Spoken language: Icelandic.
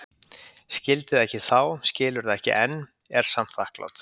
Skildi það ekki þá, skilur það ekki enn, er samt þakklát.